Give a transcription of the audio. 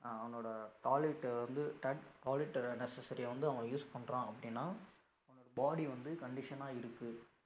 அஹ் அவனோட toilet வந்து toilet necessary வந்து அவன் use பண்றான் அப்படின்னா அவனோட body வந்து condition ஆ இருக்கு